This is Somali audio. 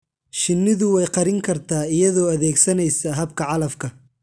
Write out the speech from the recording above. Shinnidu way qarin kartaa iyadoo adeegsanaysa habka calafka.